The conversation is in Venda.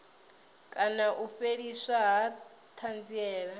kana u fheliswa ha thanziela